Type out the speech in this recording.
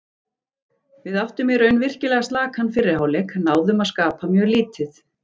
Við áttum í raun virkilega slakan fyrri hálfleik, náðum að skapa mjög lítið.